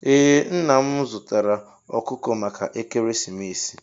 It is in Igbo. Ee nna m zụtara ọkụkọ maka ekeresimesi.